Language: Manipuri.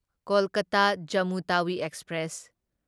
ꯀꯣꯜꯀꯇꯥ ꯖꯝꯃꯨ ꯇꯥꯋꯤ ꯑꯦꯛꯁꯄ꯭ꯔꯦꯁ